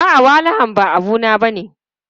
A'a, walahan ba abu na bane.